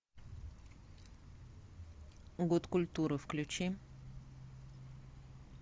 год культуры включи